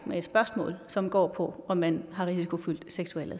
med et spørgsmål som går på om man har en risikofyldt seksuel